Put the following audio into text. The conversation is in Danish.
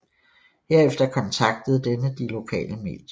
Herefter kontaktede denne de lokale medier